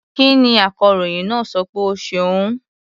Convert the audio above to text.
Kí ni akọròyìn náà sọ pé ó ṣe òun?